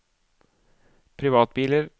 privatbiler